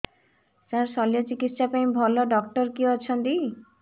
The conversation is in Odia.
ସାର ଶଲ୍ୟଚିକିତ୍ସା ପାଇଁ ଭଲ ଡକ୍ଟର କିଏ ଅଛନ୍ତି